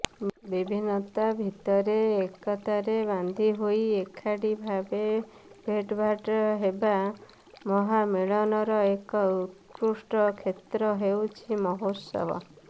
ବିଭିନ୍ନତା ଭିତରେ ଏକତାରେ ବାନ୍ଧିହୋଇ ଏକାଠିଭାବେ ଭେଟଭାଟ୍ ହେବା ମହାମିଳନର ଏକ ଉତ୍କୃଷ୍ଟ କ୍ଷେତ୍ର ହେଉଛି ମହୋତ୍ସବ